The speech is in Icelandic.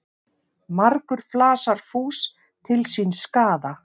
Margur flasar fús til síns skaða.